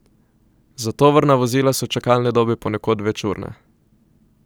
Za tovorna vozila so čakalne dobe ponekod večurne.